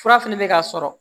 Fura fɛnɛ bɛ ka sɔrɔ